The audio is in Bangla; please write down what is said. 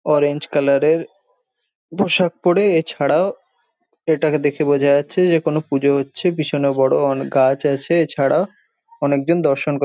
অরেঞ্জ কালার এর পোশাক পড়ে এছাড়াও এটাকে দেখে বোঝা যাচ্ছে যে কোন পুজো হচ্ছে পিছনে বড় অন গাছ আছে এছাড়া অনেকজন দর্শন কর --